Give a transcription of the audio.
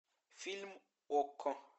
фильм окко